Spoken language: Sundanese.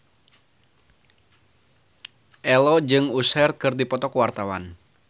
Ello jeung Usher keur dipoto ku wartawan